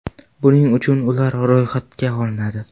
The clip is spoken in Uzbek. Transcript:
Buning uchun ular ro‘yxatga olinadi.